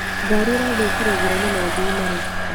Ngari ĩrathũkĩire njĩraini na thii maracuka.